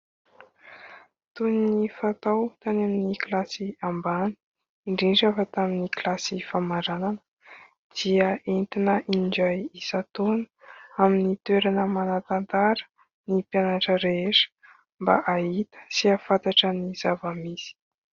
Toy ny fatao tany amin'ny kilasy ambany ; indrindra fa tamin'ny kilasy famaranana dia entina indray isan-taona amin'ny toerana manan-tantara ny mpianatra rehetra ; mba ahita sy ahafantatra ny zava-misy.